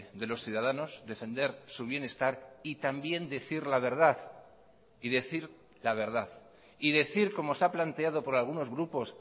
de los ciudadanos defender su bienestar y también decir la verdad y decir la verdad y decir como se ha planteado por algunos grupos